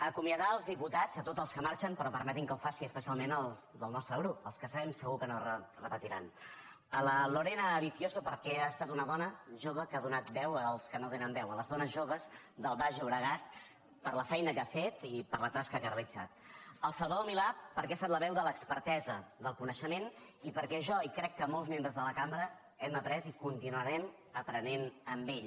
acomiadar els diputats a tots els que marxen però permetin que ho faci especialment als del nostre grup als que sabem segur que no repetiran a la lorena vicio so perquè ha estat una dona jove que ha donat veu als que no tenen veu a les dones joves del baix llobregat per la feina que ha fet i per la tasca que ha realitzat al salvador milà perquè ha estat la veu de l’expertesa del coneixement i perquè jo i crec que molts membres de la cambra hem après i continuarem aprenent amb ell